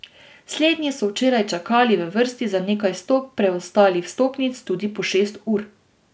Slednji so včeraj čakali v vrsti za nekaj sto preostalih vstopnic tudi po šest ur.